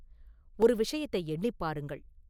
ஒரு விஷயத்தை எண்ணிப் பாருங்கள்.